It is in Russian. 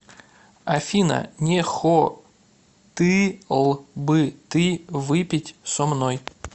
афина не хоты л бы ты выпить со мной